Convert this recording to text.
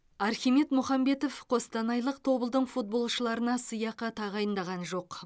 архимед мұхамбетов қостанайлық тобылдың футболшыларына сыйақы тағайындаған жоқ